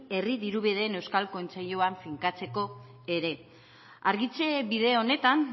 herri dirubideen euskal kontseiluan finkatzeko ere argitze bide honetan